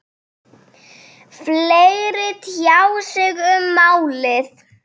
Fleiri tjá sig um málið